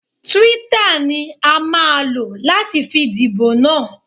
Twitter ni a máa lò láti fi díbò na.